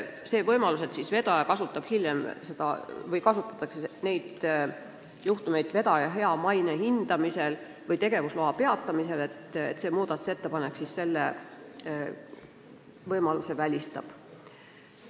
Selle võimaluse, et hiljem arvestatakse neid juhtumeid vedaja maine hindamisel või tegevusloa peatamisel, see muudatusettepanek välistab.